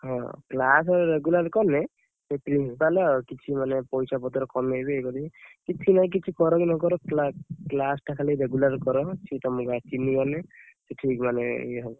ହଁ class regular କଲେ ସେ principal କିଛି ମାନେ ପଇସା ପତର କମେଇବେ, ଇଏ କରିବେ କିଛି ନାହିଁ, କିଛି କରକି ନ କର class ଟା ଖାଲି regular କର, ସେ ଖାଲି ତମକୁ ଚିହ୍ନି ଗଲେ ସେ ଠିକ ମାନେ ଇଏ ହବ।